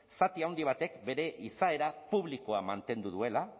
zati handi batek bere izaera publikoa mantendu duela